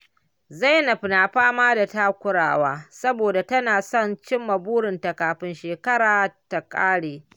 Zainab na fama da takura saboda tana son cimma burinta kafin shekara ta ƙare.